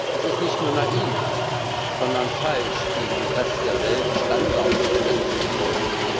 Es ist nicht nur naiv, sondern falsch, gegen den Rest der Welt Standards setzen zu wollen.